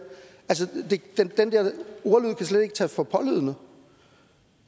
ordlyd kan slet ikke tages for pålydende